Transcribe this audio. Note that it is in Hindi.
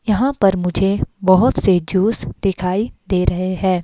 यहां पर मुझे बहुत से जूस दिखाई दे रहे है।